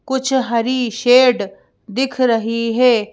कुछ हरी शेड दिख रही है।